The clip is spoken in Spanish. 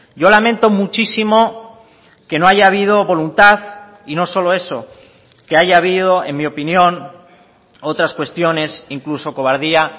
yo lamento muchísimo que no haya habido voluntad y no solo eso que haya habido en mi opinión otras cuestiones incluso cobardía